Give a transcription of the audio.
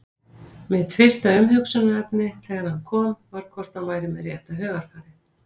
Mitt fyrsta umhugsunarefni þegar hann kom var hvort hann væri með rétta hugarfarið?